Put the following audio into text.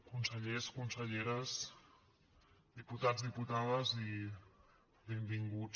consellers conselleres diputats diputades i benvinguts